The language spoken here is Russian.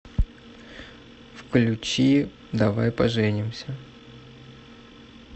включи давай поженимся